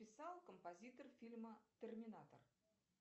писал композитор фильма терминатор